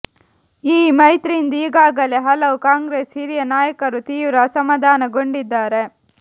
ಈ ಮೈತ್ರಿಯಿಂದ ಈಗಾಗಲೇ ಹಲವು ಕಾಂಗ್ರೆಸ್ ಹಿರಿಯ ನಾಯಕರು ತೀವ್ರ ಅಸಮಾಧನಾಗೊಂಡಿದ್ದಾರೆ